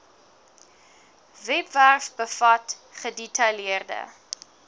webwerf bevat gedetailleerde